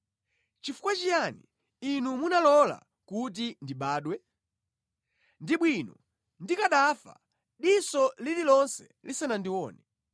“Chifukwa chiyani Inu munalola kuti ndibadwe? Ndi bwino ndikanafa diso lililonse lisanandione.